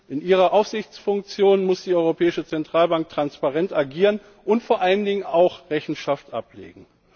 In ihrer Aufsichtsfunktion muss die Europäische Zentralbank transparent agieren und vor allen Dingen auch Rechenschaft ablegen.